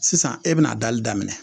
Sisan e bɛna dali daminɛ